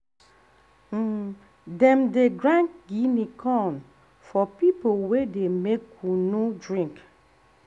um dem dey grind guinea corn for people wey dey make kunu um drink.